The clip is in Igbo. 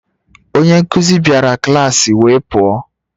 Onye nkuzi bịara klas wee pụọ